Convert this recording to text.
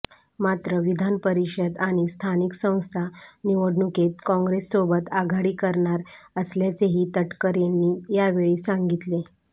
मात्र विधानपरिषद आणि स्थानिक संस्था निवडणुकीत काँग्रेससोबत आघाडी करणार असल्याचेही तटकरेंनी यावेळी सांगितले